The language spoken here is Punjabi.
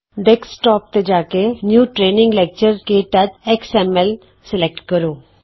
ਡੈਸਕਟੋਪ ਤੇ ਜਾ ਕੇ new training lecture k touch X M L new training lecture k touch XML select ਕਰੋ